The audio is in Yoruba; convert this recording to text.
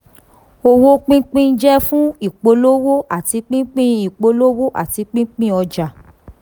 owó pínpín jẹ́ fún ìpolówó àti pínpín ìpolówó àti pínpín ọjà.